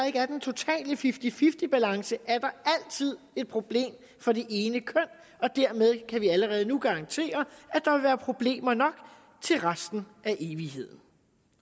ikke er den totale fifty fifty balance er der altid et problem for det ene køn og dermed kan vi allerede nu garantere at der vil være problemer nok til resten af evigheden